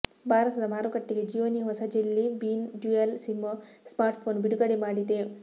ಭಾರತದ ಮಾರುಕಟ್ಟೆಗೆ ಜಿಯೋನೀ ಹೊಸ jelly bean dual SIM smartphone ಬಿಡುಗಡೆ ಮಾಡಿದೆ